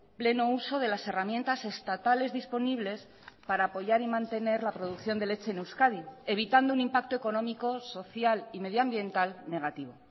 pleno uso de las herramientas estatales disponibles para apoyar y mantener la producción de leche en euskadi evitando un impacto económico social y medioambiental negativo